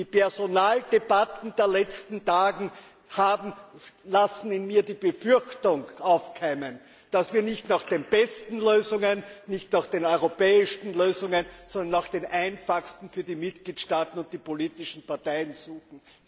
Die Personaldebatten der letzten Tage lassen in mir die Befürchtung aufkeimen, dass wir nicht nach den besten, nicht nach den europäischen Lösungen, sondern nach den einfachsten Lösungen für die Mitgliedstaaten und die politischen Parteien suchen.